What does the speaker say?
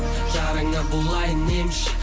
жараңа болайын емші